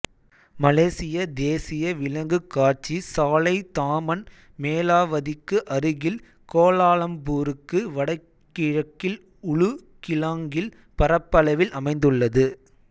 மலேசிய தேசிய விலங்குக் காட்சி சாலை தாமன் மேலாவத்திக்கு அருகில் கோலாலம்பூருக்கு வடகிழக்கில் உளு கிளாங்கில் பரப்பளவில் அமைந்துள்ளது